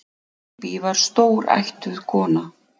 Bíbí var stórættuð kona.